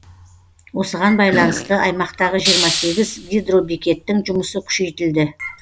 осыған байланысты аймақтағы жиырма сегіз гидробекеттің жұмысы күшейтілді